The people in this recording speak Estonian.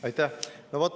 Aitäh!